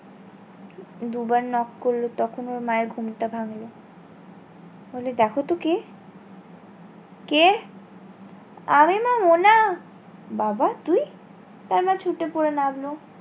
দুবার knock করলো তখন ওর মায়ের ঘুমটা ভাঙলো খুলে দেখতো কে কে? আমি মা মোনা বাবা তুই? মোনা ছুটে পড়ে নামলো